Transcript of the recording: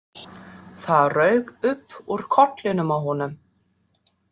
Það rauk upp úr kollinum á honum.